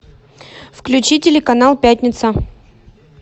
включи телеканал пятница